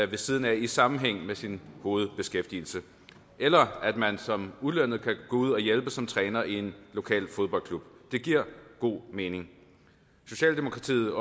ved siden af i sammenhæng med sin hovedbeskæftigelse eller at man som ulønnet kan gå ud og hjælpe som træner i en lokal fodboldklub det giver god mening socialdemokratiet